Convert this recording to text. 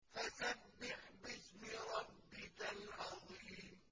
فَسَبِّحْ بِاسْمِ رَبِّكَ الْعَظِيمِ